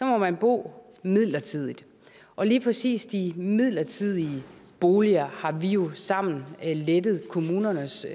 må man bo midlertidigt og lige præcis de midlertidige boliger har vi jo sammen lettet kommunernes